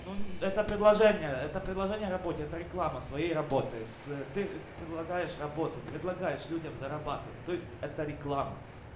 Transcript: ну это предложение это предложение работе это реклама своей работы с ты предлагаешь работу предлагаешь людям зарабатывать то есть это реклама